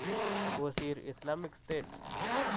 kosiir Islamic state.